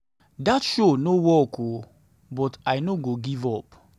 dat show no work oo but i no go give up.